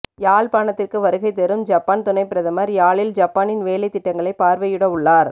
யாழ்ப்பாணத்திற்கு வருகை தரும் ஜப்பான் துணைப் பிரதமர் யாழில் ஜப்பானின் வேலைத்திட்டங்களைப் பார்வையிடவுள்ளார்